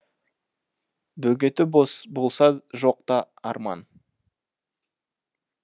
бөгеті болса жоқ та арман